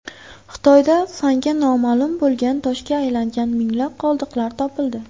Xitoyda fanga noma’lum bo‘lgan toshga aylangan minglab qoldiqlar topildi.